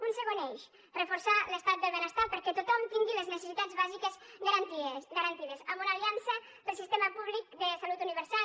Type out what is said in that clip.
un segon eix reforçar l’estat del benestar perquè tothom tingui les necessitats bàsiques garantides amb una aliança pel sistema públic de salut universal